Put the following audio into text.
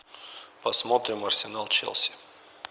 посмотрим арсенал челси